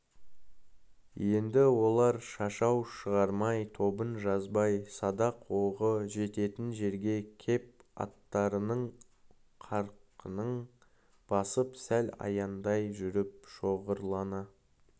енді олар шашау шығармай тобын жазбай садақ оғы жететін жерге кеп аттарының қарқынын басып сәл аяңдай жүріп шоғырлана